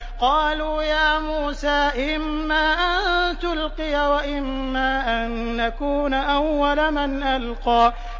قَالُوا يَا مُوسَىٰ إِمَّا أَن تُلْقِيَ وَإِمَّا أَن نَّكُونَ أَوَّلَ مَنْ أَلْقَىٰ